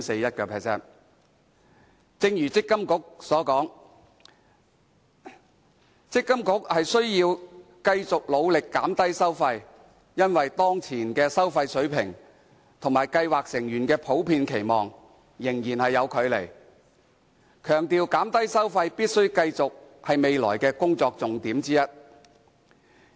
正如強制性公積金計劃管理局所說，積金局須要繼續努力減低收費，因為當前的收費水平與計劃成員的普遍期望仍有距離，強調減低收費必須繼續是未來的工作重點之一。